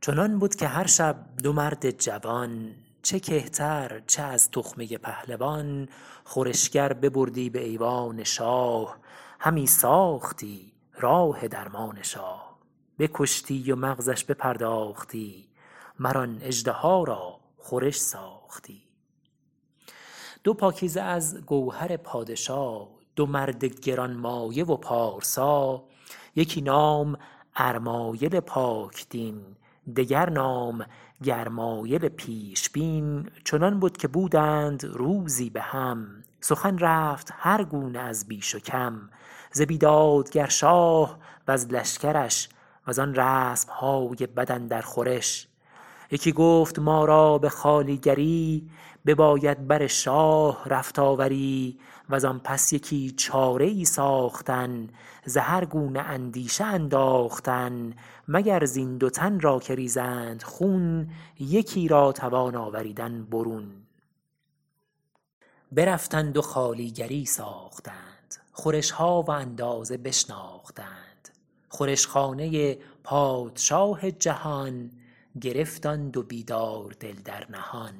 چنان بد که هر شب دو مرد جوان چه کهتر چه از تخمه پهلوان خورشگر ببردی به ایوان شاه همی ساختی راه درمان شاه بکشتی و مغزش بپرداختی مر آن اژدها را خورش ساختی دو پاکیزه از گوهر پادشا دو مرد گرانمایه و پارسا یکی نام ارمایل پاک دین دگر نام گرمایل پیشبین چنان بد که بودند روزی به هم سخن رفت هر گونه از بیش و کم ز بیدادگر شاه وز لشکرش و زان رسم های بد اندر خورش یکی گفت ما را به خوالیگری بباید بر شاه رفت آوری و زان پس یکی چاره ای ساختن ز هر گونه اندیشه انداختن مگر زین دو تن را که ریزند خون یکی را توان آوریدن برون برفتند و خوالیگری ساختند خورش ها و اندازه بشناختند خورش خانه پادشاه جهان گرفت آن دو بیدار دل در نهان